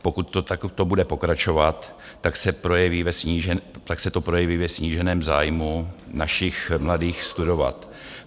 Pokud to takto bude pokračovat, tak se to projeví ve sníženém zájmu našich mladých studovat.